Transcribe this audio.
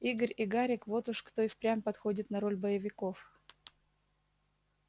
игорь и гарик вот уж кто и впрямь подходит на роль боевиков